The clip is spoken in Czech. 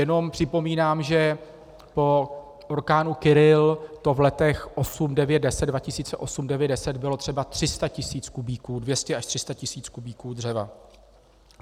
Jenom připomínám, že po orkánu Kyrill to v letech 2008, 2009, 2010 bylo třeba 300 tisíc kubíků, 200 až 300 tisíc kubíků dřeva.